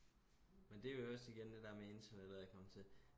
men det er jo også igen det der med internettet er kommet til